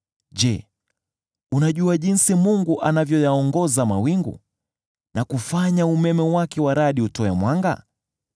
Je, unajua jinsi Mungu anavyoyaongoza mawingu, na kufanya umeme wake wa radi utoe mwanga?